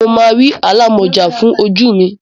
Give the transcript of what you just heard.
Mo máa rí alámọ̀já fún ojú mi.